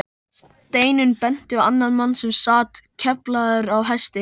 Steinunn benti á annan mann sem sat keflaður á hesti.